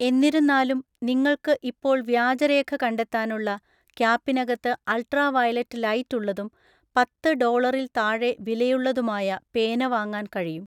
എന്നിരുന്നാലും, നിങ്ങൾക്ക് ഇപ്പോൾ വ്യാജരേഖ കണ്ടെത്താനുള്ള, ക്യാപ്പിനകത്ത് അള്‍ട്രാ വയലറ്റ് ലൈറ്റ് ഉള്ളതും പത്ത് ഡോളറില്‍ താഴെ വിലയുള്ളതുമായ പേന വാങ്ങാന്‍ കഴിയും.